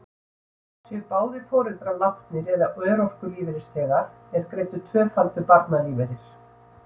Séu báðir foreldrar látnir eða örorkulífeyrisþegar, er greiddur tvöfaldur barnalífeyrir.